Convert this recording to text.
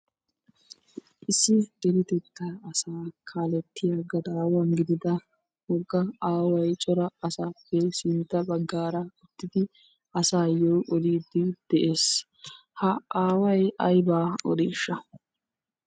issi deretettaa asaa kaalettiya gadaawa gidida woga aaway cora asaappe sintta bagaara uttidi asaayo odiidi de'ees. ha aaway aybaa odiishaa?